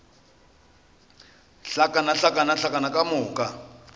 hlakana hlakana hlakana ka moka